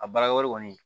A baara wɛrɛ kɔni